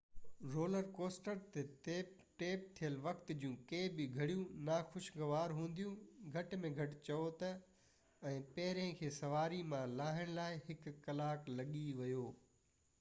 roller coaster تي tape ٿيل وقت جون ڪي به گهڙيون ناخوشگوار هونديون گهٽ ۾ گهٽ چئون ته ۽ پهرين کي سواري مان لاهڻ لاءِ هڪ ڪلاڪ لڳي ويو